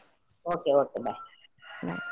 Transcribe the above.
Okay Okay bye .